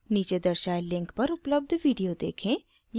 नीचे दर्शाये link पर उपलब्ध video देखें